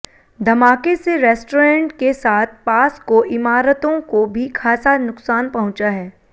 धमाके से रेस्टोरेंट के साथ पास को इमारतों को भी खासा नुकसान पहुंचा है